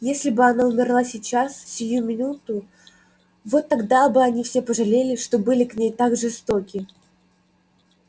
если бы она умерла сейчас сию минуту вот тогда бы они все пожалели что были к ней так жестоки